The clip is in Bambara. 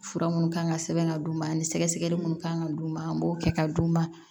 Fura minnu kan ka sɛbɛn ka d'u ma ani sɛgɛsɛgɛli minnu kan ka d'u ma an b'o kɛ ka d'u ma